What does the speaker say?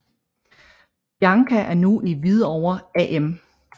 Bianca er nu i Hvidovre AM